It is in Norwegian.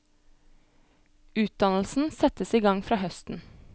Utdannelsen settes i gang fra høsten.